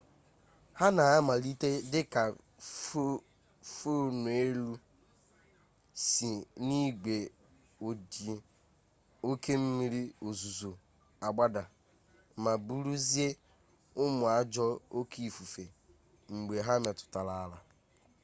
ha na-amalite dị ka fọneelụ si n'igwe ojii oke mmiri ozuzo agbada ma bụrụzie ụmụ ajọọ oke ifufe mgbe ha metụrụ n'ala